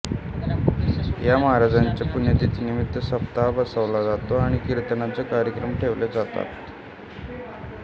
या महाराजांच्या पुण्यतिथीनिमित्त सप्ताह बसवला जातो आणि कीर्तनाचे कार्यक्रम ठेवले जातात